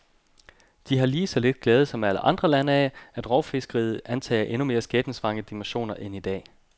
De har lige så lidt glæde som alle andre lande af, at rovfiskeriet antager endnu mere skæbnesvangre dimensioner end i dag.